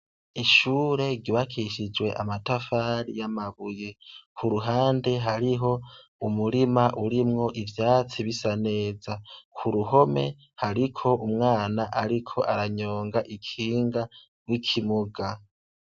Ishure gibakishijwe amatafari y'amabuye ku ruhande hariho umurima urimwo ivyatsi bisa neza ku ruhome hariko umwana, ariko aranyonga ikinga rw'ikimuga.